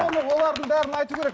олардың бәрін айту керек